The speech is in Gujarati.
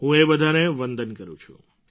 હું એ બધાને વંદન કરું છું